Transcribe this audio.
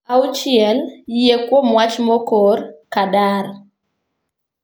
Auchiel, Yie Kuom Wach Mokor (Qadar).